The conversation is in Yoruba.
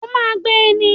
O ma gbé ní